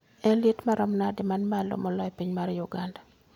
En liet maromo nade man malo moloyo e piny mar uganda